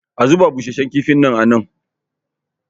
a zuba busasshen kifin nan?